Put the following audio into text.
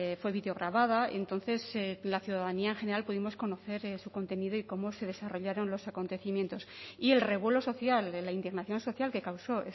fue videograbada entonces la ciudadanía en general pudimos conocer su contenido y cómo se desarrollaron los acontecimientos y el revuelo social de la indignación social que causó